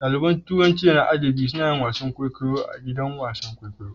Ɗaliban turanci da na adabi suna yin wasan kwaikwayo a gidan wasan kwaikwayo.